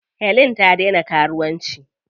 Helen ta daina karuwanci.